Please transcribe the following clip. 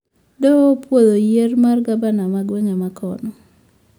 Doho opoudho yier mar gabna mar gwenge ma kono